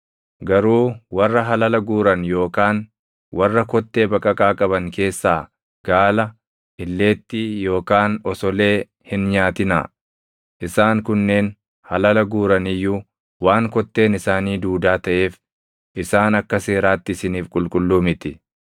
Garuu warra halala guuran yookaan warra kottee baqaqaa qaban keessaa gaala, illeettii, yookaan osolee hin nyaatinaa; isaan kunneen halala guuran iyyuu waan kotteen isaanii duudaa taʼeef isaan akka seeraatti isiniif qulqulluu miti.